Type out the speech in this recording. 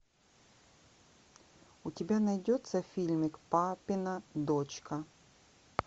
у тебя найдется фильмик папина дочка